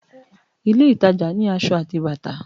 ilé ìtajà ni asọ ati bàtà